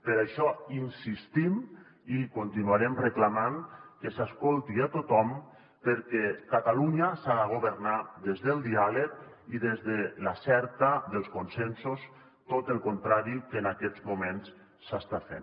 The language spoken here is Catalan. per això insistim i continuarem reclamant que s’escolti a tothom perquè catalunya s’ha de governar des del diàleg i des de la cerca dels consensos tot el contrari del que en aquests moments s’està fent